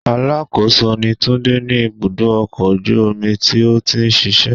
Alákòóso ni Túndé ní ibùdó ọkọ̀ ojú omi tó ti ń ṣíṣe.